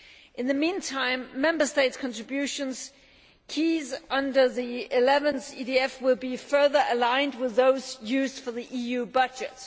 In the meantime, Member States' contributions under the 11th EDF will be further aligned with those used for the EU budget.